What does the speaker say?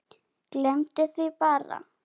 Gleymdi því bara.